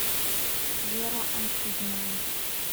вера анкудинова